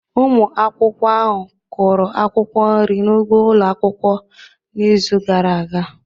Ụmụ akwụkwọ ahụ kụrụ akwụkwọ nri n'ugbo ụlọ akwụkwọ n'izu gara aga.